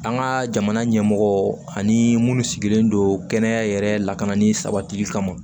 An ka jamana ɲɛmɔgɔ ani munnu sigilen don kɛnɛya yɛrɛ lakanani sabatili kama